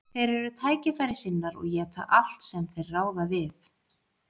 Þeir eru tækifærissinnar og éta allt sem þeir ráða við.